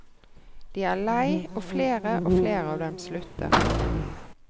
De er lei, og flere og flere av dem slutter.